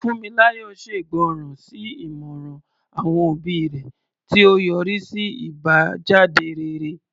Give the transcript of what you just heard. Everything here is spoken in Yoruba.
Funmilayo ṣègbọràn sí ìmọ̀ràn àwọn òbí rẹ̀, tí ó yọrí sí àbájáde rere.